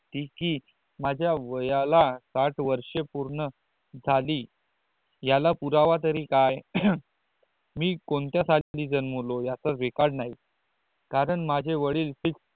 ती ही माझ्या वयाला साठ वर्ष पूर्ण झाली याला पुरवा तरीही काय मी कोणता साली जन्मलो याच्या वेकाड नाही कारण माझे वडील फी